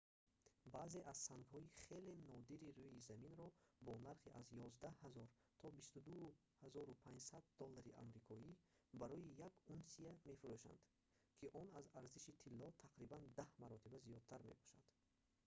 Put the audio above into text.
баъзе аз сангҳои хеле нодири рӯи заминро бо нархи аз 11000 то 22500 доллари амрикоӣ барои як унсия мефурӯшанд ки он аз арзиши тилло тақрибан даҳ маротиба зиёдтар мебошад